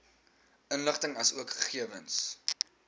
inligting asook gegewens